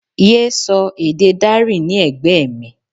Yé sọ èdè Dari ní ẹ̀gbẹ́ mi!